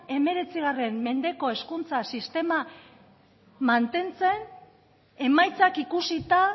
hemeretzi mendeko hezkuntza sistema mantentzen emaitzak ikusita